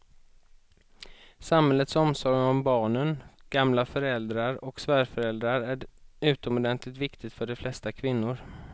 Samhällets omsorg om barnen, gamla föräldrar och svärföräldrar är utomordentligt viktig för de flesta kvinnor.